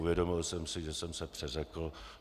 Uvědomil jsem si, že jsem se přeřekl.